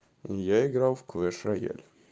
я играл в квеш рояль